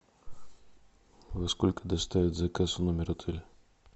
во сколько доставят заказ в номер отеля